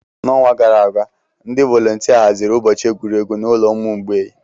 N'ọnwa gara aga, ndị volontia haziri ụbọchị egwuregwu n'ụlọ ụmụ mgbei.